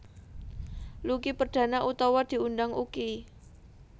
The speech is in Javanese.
Lucky Perdana utawa diundang Uky